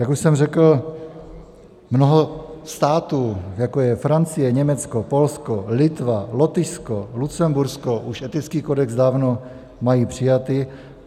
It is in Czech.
Jak už jsem řekl, mnoho států, jako je Francie, Německo, Polsko, Litva, Lotyšsko, Lucembursko, už etický kodex dávno má přijatý.